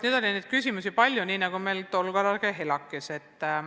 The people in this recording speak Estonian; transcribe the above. Nüüd oli neid küsimusi palju, nii nagu meil tol korral ka ELAK-is.